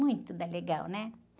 Muito da legal, né?